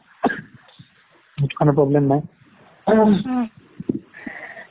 সেইটো কাৰণে problem নাই